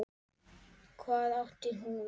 Hvað átti hún við?